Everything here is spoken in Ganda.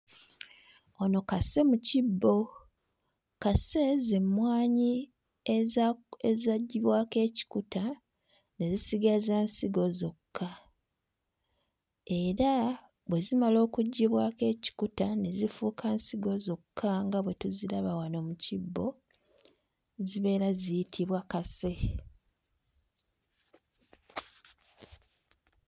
Ono kase mu kibbo. Kase z'emmwanyi ezaggyibwako ekikuta ne zisigaza nsigo zokka. Era bwe zimala okuggyibwako ekikuta ne zifuuka nsigo zokka nga bwe tuziraba wano mu kibbo, zibeera ziyitibwa kase.